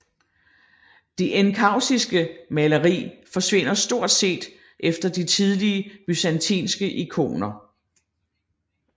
Det enkaustiske maleri forsvinder stort set efter de tidlige byzantinske ikoner